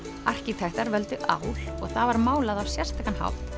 arkitektar völdu ál og það var málað á sérstakan hátt